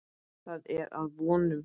Það er að vonum.